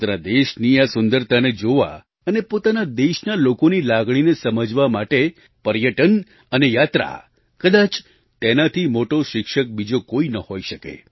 પોતાના દેશની આ સુંદરતાને જોવા અને પોતાના દેશના લોકોની લાગણીને સમજવા માટે પર્યટન અને યાત્રા કદાચ તેનાથી મોટો શિક્ષક બીજો કોઈ ન હોઈ શકે